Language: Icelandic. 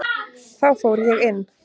Þá fór ég inn.